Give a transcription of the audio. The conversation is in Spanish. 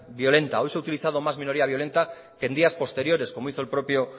violenta hoy se ha utilizado más minoría violenta que en días posteriores como hizo el propio